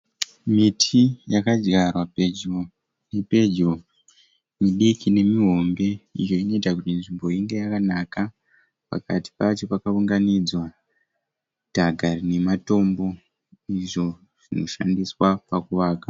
Miti yakadyarwa pedvo nepedyo midiki nemihombe iyo inoita kuti nzvimbo inge yakanaka. Pakati pacho pakaunganidzwa dhaka rine matombo izvo zvinoshandiswa pakuvaka.